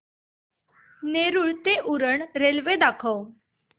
नेरूळ ते उरण रेल्वे दाखव